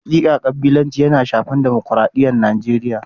Hakika kabilanci yana shafar dimukraɗiyar Nijeriya.